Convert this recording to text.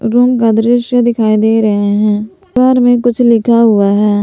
Room का दृश्य दिखाई दे रहे हैं दीवार में कुछ लिखा हुआ है।